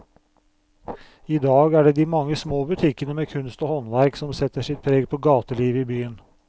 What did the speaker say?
I dag er det de mange små butikkene med kunst og håndverk som setter sitt preg på gatelivet i byen.